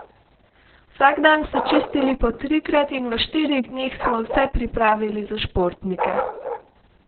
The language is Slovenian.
Vsak dan so čistili po trikrat in v štirih dneh smo vse pripravili za športnike.